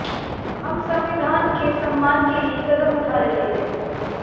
हम संविधान के सम्मान के लिए कदम उठा रहे हैं